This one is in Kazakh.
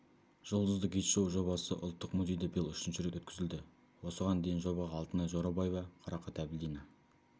жұлдызды гид шоу-жобасы ұлттық музейде биыл үшінші рет өткізілді осыған дейін жобаға алтынай жорабаева қарақат әбілдина